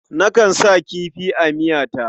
Nakan sa kifi a miyata.